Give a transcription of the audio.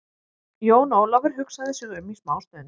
Jón Ólafur hugsaði sig um smá stund.